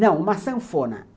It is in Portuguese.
Não, uma sanfona.